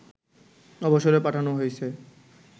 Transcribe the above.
অবসরে পাঠানো হয়েছে